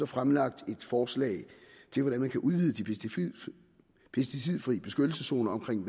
fremlagt et forslag til hvordan man kan udvide de pesticidfri beskyttelseszoner omkring